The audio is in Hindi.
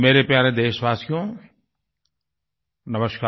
मेरे प्यारे देशवासियो नमस्कार